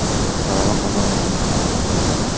G‘alaba qozonganimizdan xursandman.